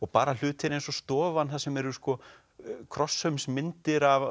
bara hlutir eins og stofan þar sem eru krossaumsmyndir af